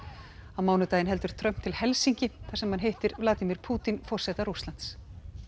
á mánudaginn heldur Trump til Helsinki þar sem hann hittir Vladimir Pútín forseta Rússlands